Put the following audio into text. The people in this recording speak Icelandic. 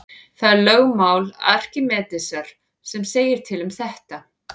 Það er lögmál Arkímedesar sem segir til um þetta.